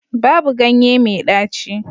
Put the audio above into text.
Babu ganye mai ɗaci